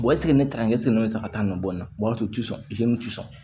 eseke ne taara e sen bɛ fɛ ka taa nin nɔ bɔ n b'a fɔ tisɔn